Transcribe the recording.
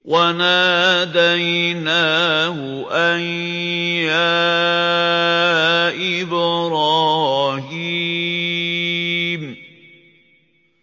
وَنَادَيْنَاهُ أَن يَا إِبْرَاهِيمُ